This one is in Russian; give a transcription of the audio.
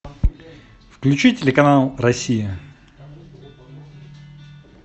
включи телеканал россия